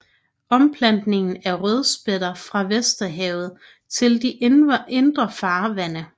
Omplantning af rødspætter fra Vesterhavet til de indre farvande